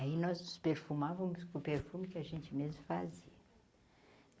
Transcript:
Aí nós nos perfumávamos com o perfume que a gente mesmo fazia.